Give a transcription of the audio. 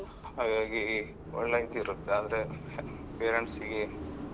ಹಾಗಾಗಿ ಒಳ್ಳೆ ಇದು ಇರುತ್ತೆ ಆದ್ರೆ parents ಗೆ.